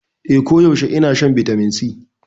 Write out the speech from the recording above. Eh, koyaushe ina shan Vitamin C.